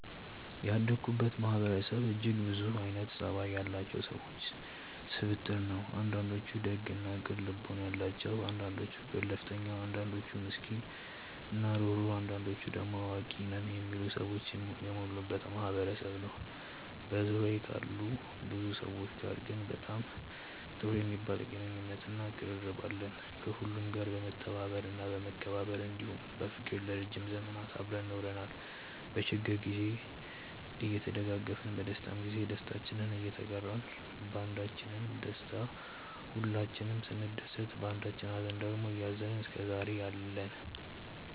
ያደኩበት ማህበረሰብ እጅግ ብዙ አይነት ፀባይ ያላቸው ሰዎች ስብጥር ነው። አንዳንዶቹ ደግ እና ቅን ልቦና ያላቸው አንዳንዶቹ ገለፍተኛ አንዳንዶቹ ምስኪን እና ሩህሩህ አንዳንዶቹ ደሞ አዋቂ ነን የሚሉ ሰዎች የሞሉበት ማህበረሰብ ነበር። በዙሪያዬ ካሉ ብዙ ሰዎች ጋር ግን በጣም ጥሩ የሚባል ግንኙነት እና ቅርርብ አለን። ከሁሉም ጋር በመተባበር እና በመከባበር እንዲሁም በፍቅር ለረዥም ዘመናት አብረን ኖረናል። በችግር ግዜ እየተደጋገፍን በደስታም ግዜ ደስታችንን እየተጋራን ባንዳችን ደስታ ሁላችንም ስንደሰት ባንዳችኝ ሃዘን ደግሞ እያዘንን እስከዛሬ አለን።